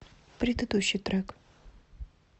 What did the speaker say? предыдущий трек